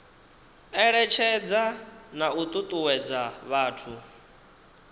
eletshedza na u tutuwedza vhathu